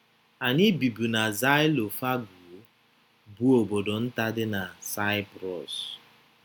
Anyị bibu na Xylophagou, bụ́ obodo nta dị na Saịprọs.